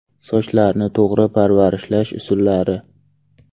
Sochlarni to‘g‘ri parvarishlash usullari.